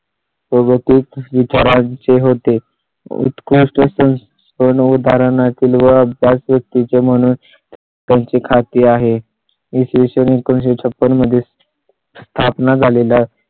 ते. मग तेच विचाराय चे होते. उत्कृष्ट असून दोन उदाहरणां तील गळती चे म्हणून त्यांचे खाते आहे. इ. स. वी. एकोणीसशे छप्पन मध्ये स्थापना झालेले